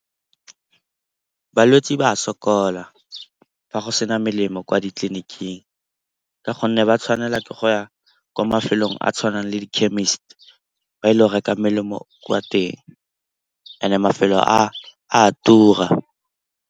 Balwetse ba sokola fa go sena melemo kwa ditleliniking ka gonne ba tshwanela ke go ya kwa mafelong a tshwanang le di-chemist, ba ile go reka melemo kwa teng and-e mafelo a a tura.